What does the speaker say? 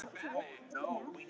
Hver getur staðist þannig bíl?